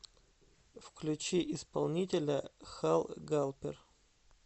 включи исполнителя хал галпер